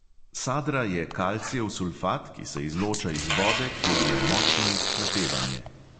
Sadra je kalcijev sulfat, ki se izloča iz vode, kjer je močno izhlapevanje.